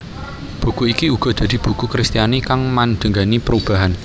Buku iki uga dadi buku Kristiani kang mandhegani perubahan